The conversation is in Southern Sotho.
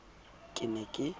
ke ne ke ipona ke